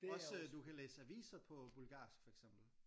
Også du kan læse aviser på bulgarsk for eksempel